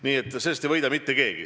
Tegelikult sellest ei võida mitte keegi.